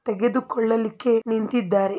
ತೆಗೆದುಕೊಳ್ಳಲಿಕ್ಕೆ ನಿಂತಿದ್ದಾರೆ --